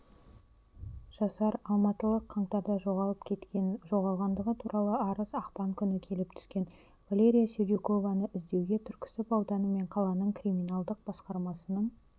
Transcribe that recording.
жасар алматылық қаңтарда жоғалып кеткен жоғалғандығы туралы арыз ақпан күні келіп түскен валерия сердюкованы іздеуге түркісіб ауданы мен қаланың криминалдық басқармасының